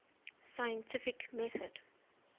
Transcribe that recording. scientific method